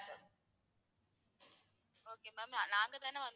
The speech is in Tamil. Okay ma'am நாங்க தான வந்து,